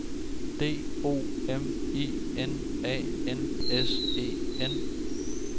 D O M I N A N S E N